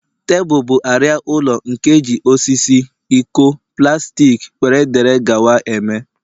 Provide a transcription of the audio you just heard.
Tebụl bụ arịa ụlọ, nke eji osisi, iko, plastik wdg eme